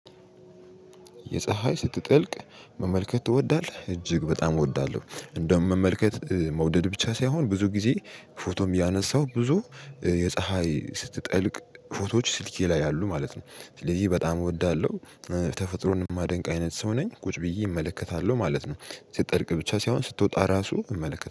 ፀሀይ ስትጠልቅ መመልከት ትወዳለህ እጅግ በጣም እወዳለሁ። እንደውም መመልከት መውደድ ብቻ ሳይሆን ብዙ ጊዜ ፎቶም እያነሰው ብዙ የፀሀይ ስትጠልቅ ፎቶዎች ስልኬ ላይ አሉ ማለት ነው። ስለዚህ በጣም እወዳለሁ። ተፈጥሮን የማደንቅ አይነት ሰው ነኝ ቁጭ ብዬ እመለከታለሁ ማለት ነው። ስጠልቅ ብቻ ሳይሆን ስትወጣ እራሱ እመለከታለሁ